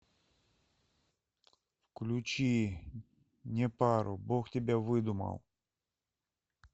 включи непару бог тебя выдумал